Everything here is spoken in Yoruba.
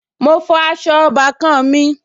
Mo fọ aṣọ ọbàkan-àn mi